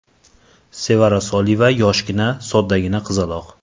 Sevara Soliyeva yoshgina, soddagina qizaloq.